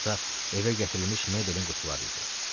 Nə vaxtsa evə gətirilmiş mebelin qutuları idi.